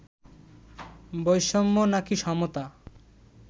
বৈষম্য নাকি সমতা